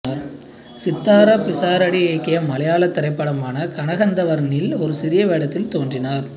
சித்தாரா பிசாரடி இயக்கிய மலையாள திரைப்படமான கணகந்தர்வனில் ஒரு சிறிய வேடத்தில் தோன்றினார்